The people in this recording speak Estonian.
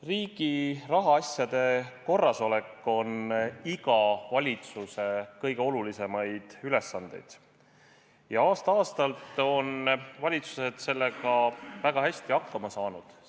Riigi rahaasjade korrasolek on iga valitsuse kõige olulisemaid ülesandeid ja aasta-aastalt on valitsused sellega väga hästi hakkama saanud.